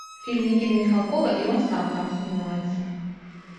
фильм никиты михалкова и он сам там снимается